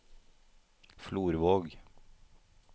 Florvåg